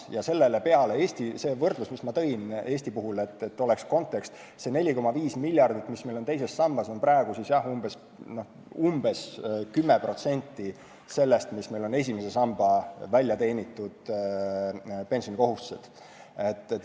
Siia kõrvale sobib konteksti mõttes see võrdlus, mis ma tõin Eesti puhul, et see 4,5 miljardit, mis on teises sambas, on praegu umbes 10% sellest, mis meil on esimese samba väljateenitud pensionikohustused.